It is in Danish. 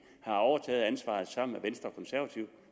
overtog ansvaret sammen